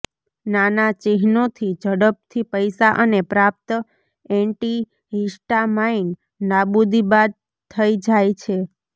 નાના ચિહ્નોથી ઝડપથી પૈસા અને પ્રાપ્ત એન્ટિહિસ્ટામાઇન નાબૂદી બાદ થઈ જાય છે